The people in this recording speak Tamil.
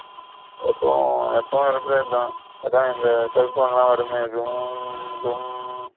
எப்பவு எப்பவு இருக்குறதுத அத இந்த cell phone ல வருமே .